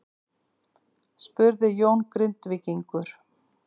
spurði Jón Grindvíkingur.